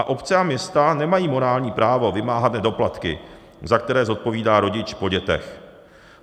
A obce a města nemají morální právo vymáhat nedoplatky, za které zodpovídá rodič po dětech.